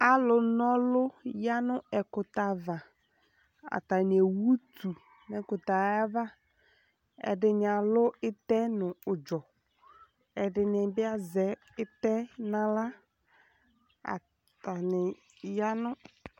Alʋnɔlʋ ya nʋ ɛkʋtɛ ava Atani ewʋ utu nʋ ɛkʋtɛ yɛ ava Ɛdini alʋ itɛ nʋ ʋdzɔ, ɛdini bi azɛ itɛ naɣla Atani ya nʋ